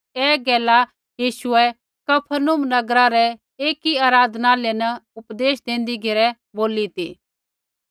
ऐ गैला यीशुऐ कफरनहूम नगरा रै एकी आराधनालय न उपदेश देंदी घेरै बोली ती